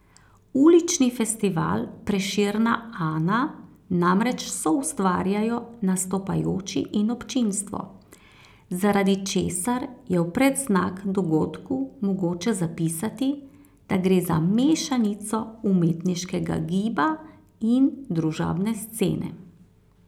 Ulični festival Prešerna Ana namreč soustvarjajo nastopajoči in občinstvo, zaradi česar je v predznak dogodku mogoče zapisati, da gre za mešanico umetniškega giba in družabne scene.